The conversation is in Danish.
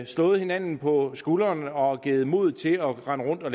slået hinanden på skulderen og givet hinanden modet til at rende rundt og